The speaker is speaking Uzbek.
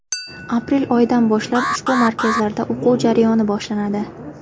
Aprel oyidan boshlab ushbu markazlarda o‘quv jarayoni boshlanadi.